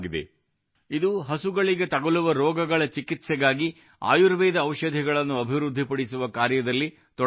ಇದು ಹಸುಗಳಿಗೆ ತಗಲುವ ರೋಗಗಳ ಚಿಕಿತ್ಸೆಗಾಗಿ ಆಯುರ್ವೇದ ಔಷಧಗಳನ್ನು ಅಭಿವೃದ್ಧಿ ಪಡಿಸುವ ಕಾರ್ಯದಲ್ಲಿ ತೊಡಗಿಸಿಕೊಂಡಿದೆ